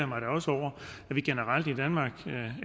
mig da også over